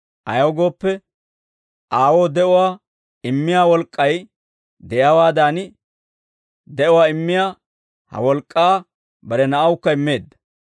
Ayaw gooppe, Aawoo de'uwaa immiyaa wolk'k'ay de'iyaawaadan, de'uwaa immiyaa he wolk'k'aa bare Na'awukka immeedda.